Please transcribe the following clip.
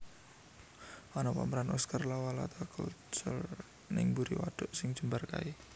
Ono pameran Oscar Lawalata Culture ning mburi waduk sing jembar kae